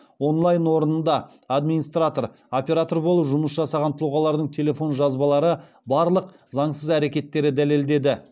онлайн орнында администратор оператор болып жұмыс жасаған тұлғалардың телефон жазбалары барлық заңсыз әрекеттерді дәлелдеді